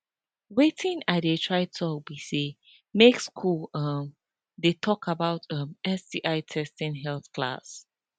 watin i they try talk be say make school um they talk about um sti testing health class